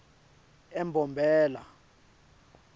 embombela